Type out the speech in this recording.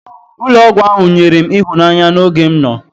Ụlọ ọgwụ ahụ nyere m ịhụnanya n'oge m nọ.